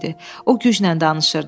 O güclə danışırdı.